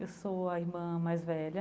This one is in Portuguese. Eu sou a irmã mais velha.